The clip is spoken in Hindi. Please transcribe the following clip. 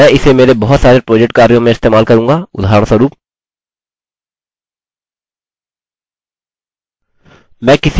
मैं इसे मेरे बहुत सारे प्रोजेक्ट कार्यों में इस्तेमाल करूँगा उदाहरणस्वरुप